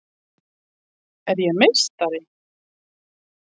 Er ég meistari?